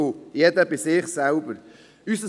Zudem muss jeder auch bei sich selber hinschauen.